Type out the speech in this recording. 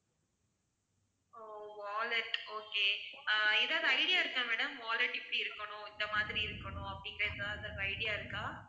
ஓ wallet okay ஆஹ் ஏதாவது idea இருக்கா madam wallet இப்படி இருக்கணும் இந்த மாதிரி இருக்கணும் அப்படின்னு ஏதாவது idea இருக்கா?